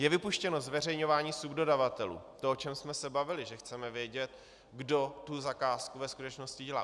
Je vypuštěno zveřejňování subdodavatelů, to, o čem jsme se bavili, že chceme vědět, kdo tu zakázku ve skutečnosti dělá.